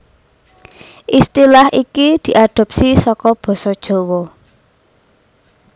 Istilah iki diadhopsi saka basa Jawa